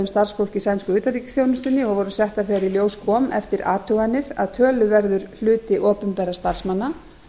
í sænsku utanríkisþjónustunni og voru settar þegar í ljós kom eftir athuganir að töluverður hluti opinberra starfsmanna